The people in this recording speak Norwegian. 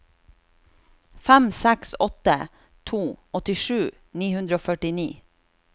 fem seks åtte to åttisju ni hundre og førtini